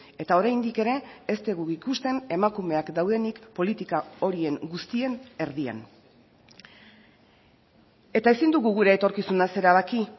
eta oraindik ere ez dugu ikusten emakumeak daudenik politika horien guztien erdian eta ezin dugu gure etorkizunaz erabaki